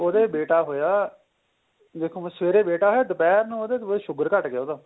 ਉਹਦੇ ਬੇਟਾ ਹੋਇਆ